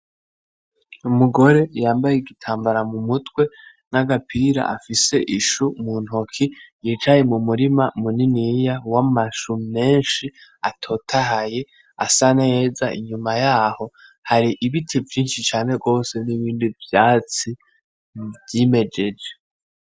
Umugore yambaye Igitambara mumutwe n'agapira afise Ishu muntoki yicaye mumurima w'amashu menshi atotahaye ,inyuma yaho hari ibiti vyinshi cane gose, n'ibindi vyatsi vyimejeje.